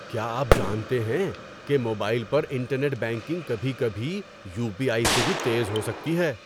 کیا آپ جانتے ہیں کہ موبائل پر انٹرنیٹ بینکنگ کبھی کبھی یو پی آئی سے بھی تیز ہو سکتی ہے؟